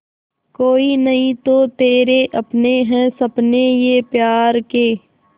कोई नहीं तो तेरे अपने हैं सपने ये प्यार के